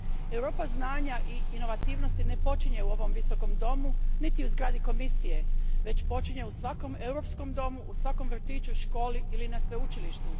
Europa znanja i inovativnosti ne počinje u ovom visokom domu, niti u zgradi Komisije, već počinje u svakom europskom domu, u svakom vrtiću, školi ili na sveučilištu.